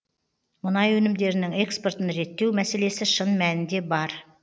мұнай өнімдерінің экспортын реттеу мәселесі шын мәнінде бар